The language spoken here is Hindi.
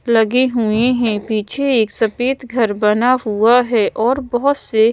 लगे हुए हैं पीछे एक सफेद घर बना हुआ है और बहुत से--